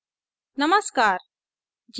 नमस्कार